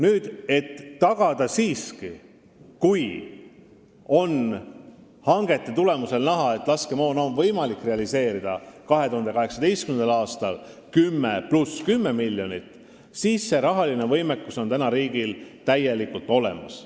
Nüüd, kui hangete tulemusena on näha, et laskemoona on võimalik realiseerida 2018. aastal 10 + 10 miljonit, siis see rahaline võimekus on riigil praegu täielikult olemas.